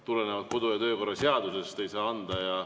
Tulenevalt kodu‑ ja töökorra seadusest ei saa anda.